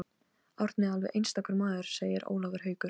Árni er alveg einstakur maður segir Ólafur Haukur.